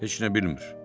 Heç nə bilmir.